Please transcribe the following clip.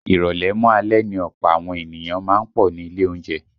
Ìrọ̀lẹ́ mọ́ alẹ́ ni ọ̀pọ̀ àwọn ènìyàn má ń pọ̀ ní ilé oúnjẹ